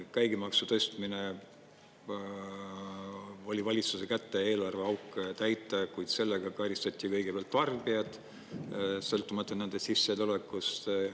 Käibemaksu tõstmine oli valitsuse kätte eelarveauke täita, kuid sellega karistati kõigepealt tarbijaid, sõltumata nende sissetulekust.